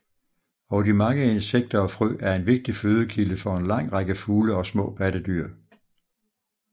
Og de mange insekter og frø er en vigtig fødekilde for en lang række fugle og små pattedyr